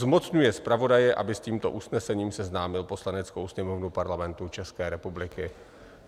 Zmocňuje zpravodaje, aby s tímto usnesením seznámil Poslaneckou sněmovnu Parlamentu České republiky.